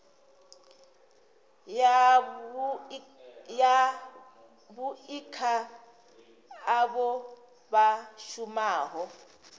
yavhui kha avho vha shumaho